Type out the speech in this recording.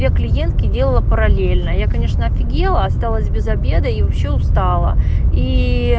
я клиентке делала параллельно я конечно офигела осталась без обеда и вообще устала и